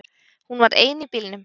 Hún var ein í bílnum